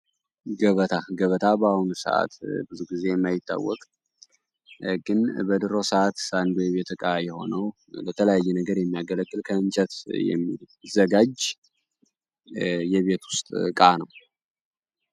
ገበታ ገበታ በአሁኑ ሰዓት ብዙ ጊዜ የማይታወቅት ግን በድሮ ሰዓት አንዱ የቤት እቃ የሆነው በተለያየ ነገር የሚያገለክል ከእንጨት የሚዘጋጅ የቤት ውስጥ እቃ ነው።